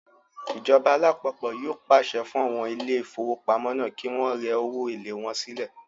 Ìjọba alápapọ̀ yóò pàṣẹ fún àwọn ilé ìfowópamọ́ náà kí wọ́n rẹ owó èlé wọn sílẹ̀